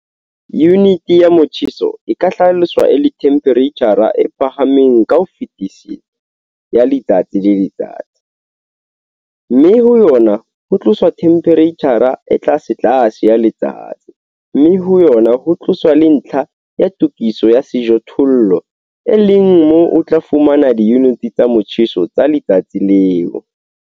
Yunite ya motjheso e ka hlaloswa e le themphereitjhara e phahameng ka ho fetisisa ya letsatsi le letsatsi, mme ho yona ho tloswa themphereitjhara e tlasetlase ya letsatsi, mme ho yona ho tloswa le ntlha ya tokiso ya sejothollo, e leng moo o tla fumana diyunite tsa motjheso tsa letsatsi leo.